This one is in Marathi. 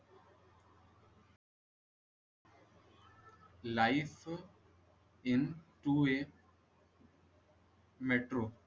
life into a metro